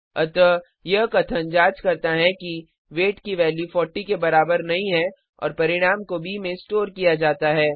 अतः यह कथन जांच करता है कि वेट की वैल्यू 40 के बराबर नहीं है और परिणाम को ब में स्टोर किया जाता है